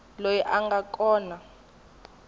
loyi a nga kona eka